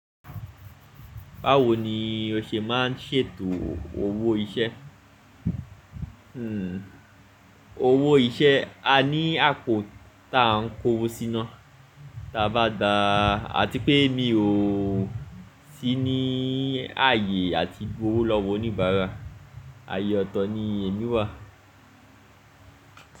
Báwo ni o ṣe máa ń ṣètò owó iṣẹ́? Owó iṣẹ́ a ní àpò ta ń kówó síná tí a bá dáa, à ti pé mi ò sí ní ààyè àti gbooro lọ́wọ́ oníbàárà, ayé ọ̀tọ̀ ni èní wà.